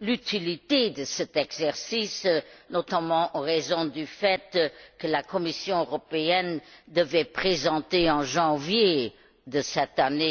l'utilité de cet exercice, notamment en raison du fait que la Commission européenne devait présenter en janvier de cette année